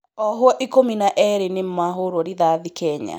Ohwo ikumi na eerĩ nĩmahũrwo rithathi Kenya